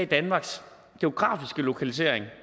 danmarks geografiske lokalisering